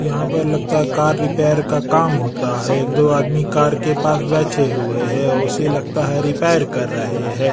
यहाँ पर लगता है कार रिपेयर का काम होता है एक दो आदमी कार के पास बैठे हुए हैं औ उसे लगता है रिपेयर कर रहे हैं।